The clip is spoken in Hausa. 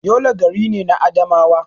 Yola gari ne na Adamawa.